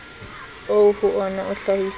oo ho wona o hlahisang